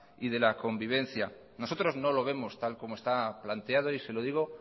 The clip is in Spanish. y de la convivencia nosotros no lo vemos tal como está planteado y se lo digo